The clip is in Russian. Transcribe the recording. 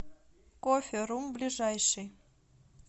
кофе рум ближайший